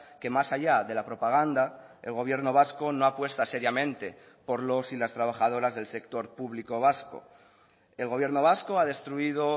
que más allá de la propaganda el gobierno vasco no apuesta seriamente por los y las trabajadoras del sector público vasco el gobierno vasco ha destruido